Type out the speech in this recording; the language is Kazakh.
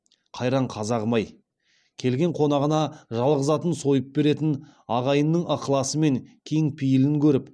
қайран қазағым ай келген қонағына жалғыз атын сойып беретін ағайынның ықыласы мен кең пейілін көріп